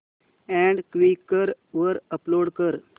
add Quikr वर upload कर